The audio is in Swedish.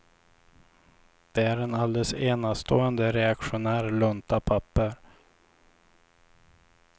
Det är en alldeles enastående reaktionär lunta papper.